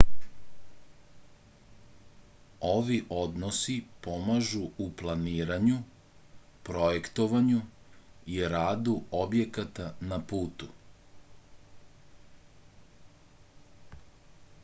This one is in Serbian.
ovi odnosi pomažu u planiranju projektovanju i radu objekata na putu